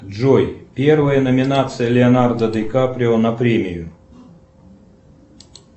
джой первая номинация леонардо дикаприо на премию